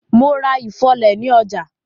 Mo ra ifọ́lẹ̀ ni ọjà.